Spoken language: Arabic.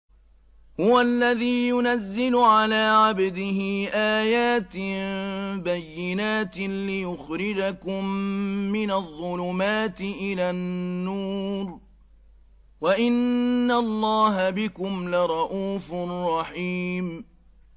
هُوَ الَّذِي يُنَزِّلُ عَلَىٰ عَبْدِهِ آيَاتٍ بَيِّنَاتٍ لِّيُخْرِجَكُم مِّنَ الظُّلُمَاتِ إِلَى النُّورِ ۚ وَإِنَّ اللَّهَ بِكُمْ لَرَءُوفٌ رَّحِيمٌ